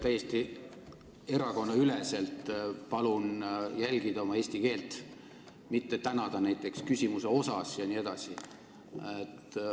Täiesti erakonnaüleselt palun jälgida oma eesti keelt, mitte tänada näiteks küsimuse osas jne.